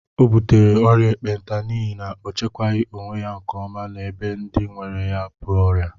O butere ọrịa ekpenta n'ihi na o chekwaghi onwe ya nke ọma na ebe ndị nwere ya bú ọrịa